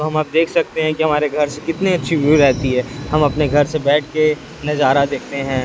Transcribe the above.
हम आप देख सकते हैं कि हमारे घर से कितनी अच्छी ब्यू रहती है हम अपने घर से बैठ के नजारा देखते हैं।